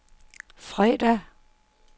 fredag